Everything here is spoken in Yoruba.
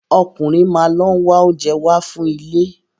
Ọkùnrin máa lọ ń wá oúnjẹ wá fún ilé.